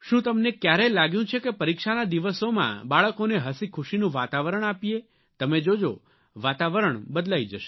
તમને ક્યારેય લાગ્યું કે પરીક્ષાના દિવસોમાં બાળકોને હસીખુશીનું વાતાવરણ આપીએ તમે જોજો વાતાવરણ બદલાઇ જશે